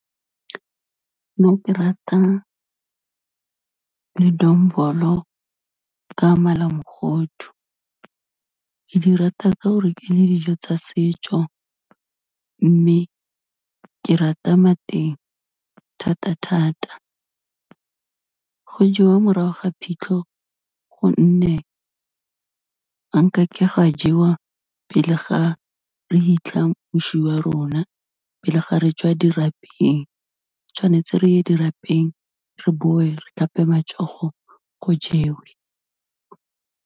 Nna ke rata ledombolo ka malamogodu, ke di rata ka gore ke dijo tsa setso, mme ke rata mateng thata-thata. Go jewa morago ga phitlho gonne, ga nkake gwa jewa pele ga re hitlha moswi wa rona, pele ga re tswa dirapeng, tshwanetse re ye dirapeng re bowe re tlhape matsogo, go jewe.